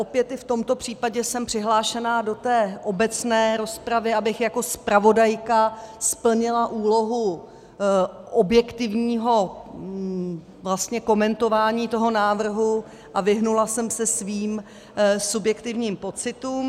Opět i v tomto případě jsem přihlášená do té obecné rozpravy, abych jako zpravodajka splnila úlohu objektivního komentování toho návrhu a vyhnula jsem se svým subjektivním pocitům.